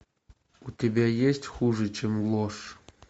у тебя есть хуже чем ложь